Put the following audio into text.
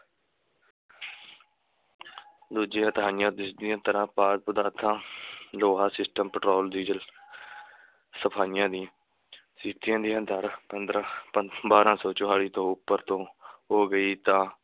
ਦੂਜੀਆਂ ਤਿਹਾਈਆਂ ਜਿਸ ਦੀਆਂ ਤਰ੍ਹਾਂ ਲੋਹਾ ਪੈਟਰੋਲ, ਡੀਜ਼ਲ ਸਫ਼ਾਈਆਂ ਦੀਆਂ ਦਰ ਪੰਦਰਾਂ ਪੰ~ ਬਾਰਾਂ ਸੌ ਚਾਲੀ ਤੋਂ ਉੱਪਰ ਤੋਂ ਹੋ ਗਈ ਤਾਂ